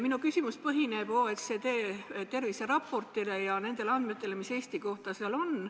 Minu küsimus põhineb OECD terviseraportil ja nendel andmetel, mis seal Eesti kohta on.